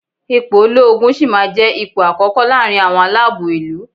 Ipò olóogun sì máa jẹ́ ipò àkókò láàrin àwọn aláàbò ìlú.